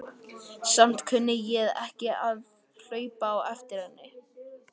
Samt kunni ég ekki við að hlaupa á eftir henni.